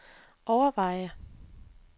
overveje